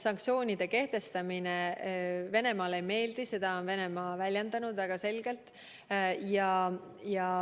Nende kehtestamine Venemaale ei meeldi, seda on Venemaa väljendanud väga selgelt.